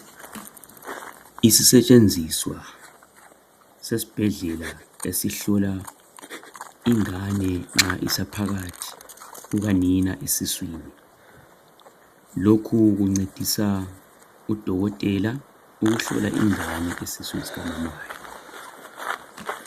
Isisetshenziswa sesibhedlela esihlola ingane nxa isaphakathi kukanina esiswini . Lokhu kuncedisa udokotela ukuhlola ingane esiswini sikamama wayo.